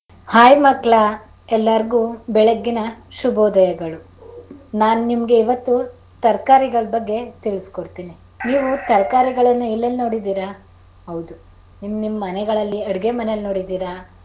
Hai ಮಕ್ಕಳಾ ಎಲ್ಲಾರಗು ಬೆಳ್ಳಗಿನ ಶುಭೋದಯಗಳು ನಾನ್ ನಿಮಗೆ ಇವತ್ತು ತರ್ಕರಿಗಳ ಬಗ್ಗೆ ತಿಳಿಸಕೊಡ್ತೀನಿ. ನೀವು ತರ್ಕಾರಿಗಳನ್ನ ಎಲ್ಲೆಲ್ಲಿ ನೋಡಿದಿರಾ ಹೌದು ನಿಮನಿಮ್ ಮನೆಗಳಲ್ಲಿ ಅಡುಗೆ ಮನೆಲ್ ನೋಡಿದೀರ.